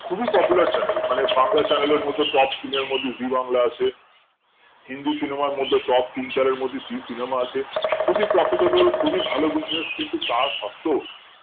খুবই popular channel মানে Bangla channel এর মধ্যে top scene এর মধ্যে জি বাংলা আছে হিন্দি cinema এর মধ্যে top তিন চার মধ্যে জি cinema আছে খুবই profitable খুবই ভালো business কিন্তু তা সত্ত্বেও